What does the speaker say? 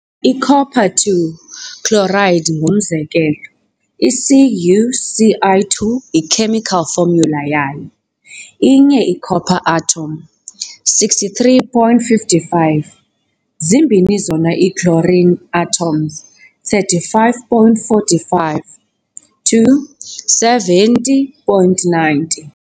I-Copper II chloride ingumzekelo. i-CuCl2 yi-chemical formula yayo. inye i-copper atom, 63.55, zimbini zona ii-chlorine atoms, 35.45 - 2 70.90.